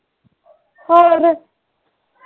ਹੋਰ